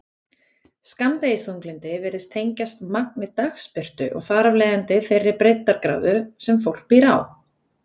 Skammdegisþunglyndi virðist tengjast magni dagsbirtu og þar af leiðandi þeirri breiddargráðu sem fólk býr á.